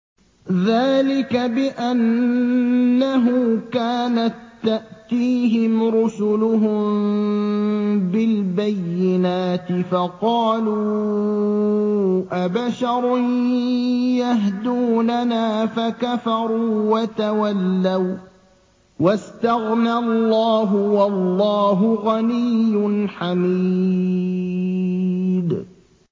ذَٰلِكَ بِأَنَّهُ كَانَت تَّأْتِيهِمْ رُسُلُهُم بِالْبَيِّنَاتِ فَقَالُوا أَبَشَرٌ يَهْدُونَنَا فَكَفَرُوا وَتَوَلَّوا ۚ وَّاسْتَغْنَى اللَّهُ ۚ وَاللَّهُ غَنِيٌّ حَمِيدٌ